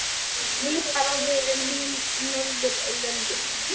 Svipað á við um hin Norðurlöndin.